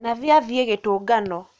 Nathi athiĩ gĩtũngano